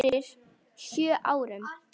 Fyrir sjö árum.